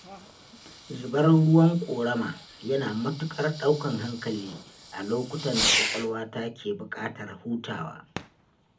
Zubar ruwan ƙorama yana matuƙar ɗaukan hankali a lokutan da ƙwaƙwalwata ke buƙatar hutawa.